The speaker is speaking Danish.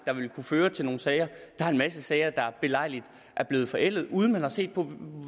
der ville kunne føre til nogle sager der er en masse sager der belejligt er blevet forældet uden man har set på